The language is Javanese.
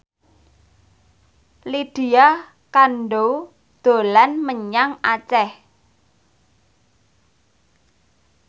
Lydia Kandou dolan menyang Aceh